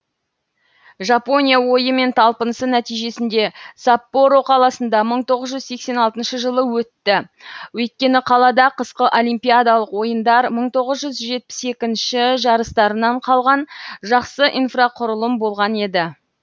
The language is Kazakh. жапония ойы мен талпынысы нәтижесінде саппоро қаласында мың тоғыз жүз сексен алтыншы жылы өтті өйткені қалада қысқы олимпиадалық ойындар мың тоғыз жүз жетпіс екінші жарыстарынан қалған жақсы инфрақұрылым болған еді